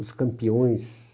Os campeões.